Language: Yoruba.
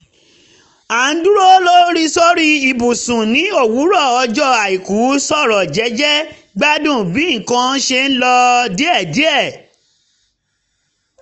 a ń dúró sórí ibùsùn ní òwúrọ̀ ọjọ́ àìkú sọ̀rọ̀ jẹ́jẹ́ gbádùn bí nǹkan ṣe ń lọ díẹ̀díẹ̀